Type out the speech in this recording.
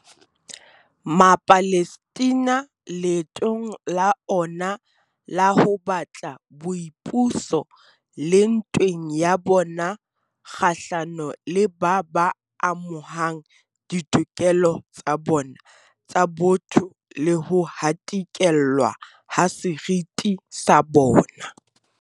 Mapalestina leetong la ona la ho batla boipuso, le ntweng ya bona kgahlano le ba ba amohang ditokelo tsa bona tsa botho le ho hatikellwa ha seriti sa bona.